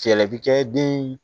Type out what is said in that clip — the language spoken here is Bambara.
Fɛɛrɛ bɛ kɛ den